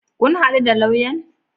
Kun haɗu da lauyan?